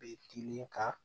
Be tilen ka